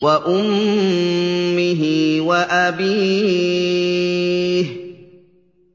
وَأُمِّهِ وَأَبِيهِ